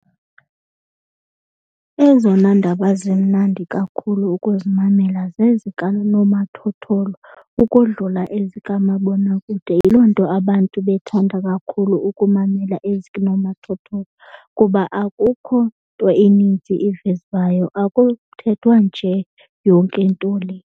Ezona ndaba zimnandi kakhulu ukuzimamela zezikanomathotholo ukodlula ezikamabonakude. Yiloo nto abantu bethanda kakhulu ukumamela ezikunomathotholo kuba akukho nto ininzi ivezwayo akuthethwa nje yonke into le.